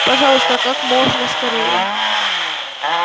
пожалуйста как можно скорее